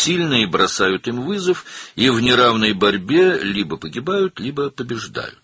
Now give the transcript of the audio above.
Güclülər onlara meydan oxuyur və qeyri-bərabər mübarizədə ya ölür, ya da qalib gəlirlər.